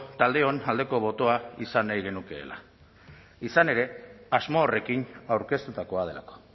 taldeon aldeko botoa izan nahi genukeela izan ere asmo horrekin aurkeztutakoa delako